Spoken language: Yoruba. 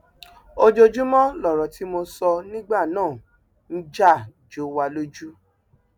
ojoojúmọ lọrọ tí mo sọ nígbà náà ń já jó wa lójú